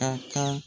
A ka